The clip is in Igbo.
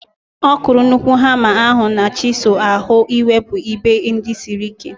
Ọ kụrụ nnukwu hama ahu na chisụl ahu iwepu ebe ndị siri ike